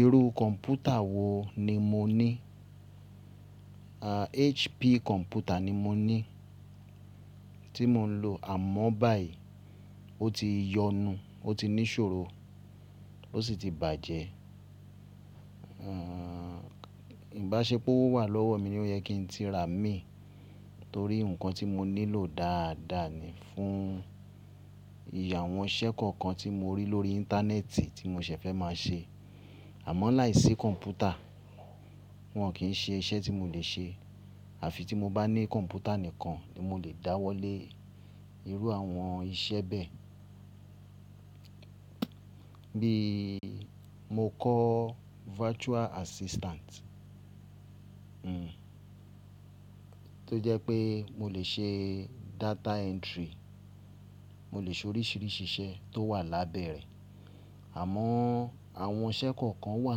Irú kọ̀m̀pútà wo ni mo ní? HP kọ̀m̀pútà ni mo ní tí mo ń lò àmọ́ báyìí ó ti yọnu, ó ti ní ṣòro o sì ti bàjẹ́. Ìbáṣepọ̀ wà lọ́wọ́ mi ní ó yẹ kí n ti rà mí torí nǹkan tí mo nílò dáadáa ni fún ìyàwọn iṣẹ́ kọ̀ọ̀kan tí mo rí lórí Íńtánẹ́ẹ̀tì tí mo ṣẹ̀ fẹ́ máa ṣe. Àmọ́ láìsí kọ̀m̀pútà wọn kì í ṣe iṣẹ́ tí mo le ṣe àfi tí mo bá ní kọ̀m̀pútà nìkan ni mo lè dáwọ́lé irú àwọn iṣẹ́ bẹ́ẹ̀. Bí mo kọ́ virtual assistant, tó jẹ́ pé mo lè ṣe data entry, mo lè ṣe oríṣìíríṣìí iṣẹ́ tó wà lábẹ́ rẹ̀. Àmọ́ àwọn iṣẹ́ kọ̀ọ̀kan wà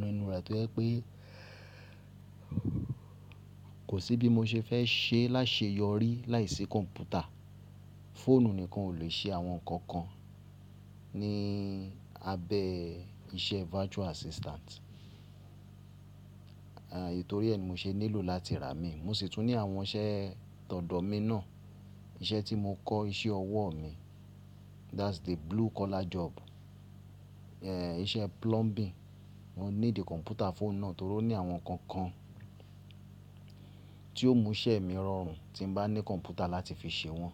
nínú rẹ̀ tó jẹ́ pé kò sí bí mo ṣe fẹ́ ṣe láṣẹ yọrí láìsí kọ̀m̀pútà. Fóònù nìkan o lè ṣe àwọn nǹkan kan ní abẹ́ iṣẹ́ virtual assistant. Torí ẹ ni mo ṣe nílò láti rà mí. Mo sì tún ní àwọn iṣẹ́ tọ̀dọ̀ mi náà, iṣẹ́ tí mo kọ́ iṣẹ́ ọwọ́ mi, that's the blue collar job, iṣẹ́ plumbing. Mo ní di kọ̀m̀pútà fọ́ọ̀nù náà torí ó ní àwọn nǹkan kan tí yóò mú iṣẹ́ mi rọrùn tí bá ní kọ̀m̀pútà láti fi ṣe wọ́n.